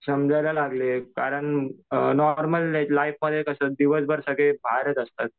समजायला लागले कारण नॉर्मल लाईफमध्ये कसं दिवसभर सगळे बाहेरच असतात.